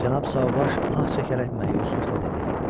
Cənab Sauvage ah çəkərək məyusluqla dedi.